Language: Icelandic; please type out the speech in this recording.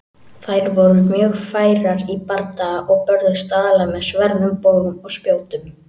Þær voru mjög færar í bardaga og börðust aðallega með sverðum, bogum og spjótum.